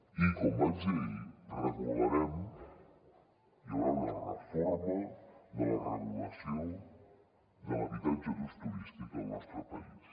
i com vaig dir ahir regularem hi haurà una reforma de la regulació de l’habitatge d’ús turístic al nostre país